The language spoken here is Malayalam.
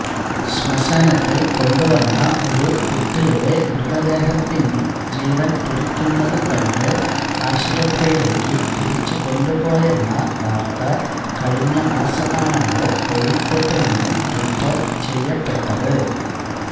ശ്മശാനത്തില് കൊണ്ടുവന്ന ഒരു കുട്ടിയുടെ മൃതദേഹത്തില് ജീവന് തുടിക്കുന്നതു കണ്ട് ആശുപത്രിയിലേയ്ക്കു തിരിച്ചുകൊണ്ടുപോയെന്ന വാര്ത്ത കഴിഞ്ഞമാസമാണല്ലോ കോഴിക്കോട്ടുനിന്നു റിപ്പോര്ട്ട് ചെയ്യപ്പെട്ടത്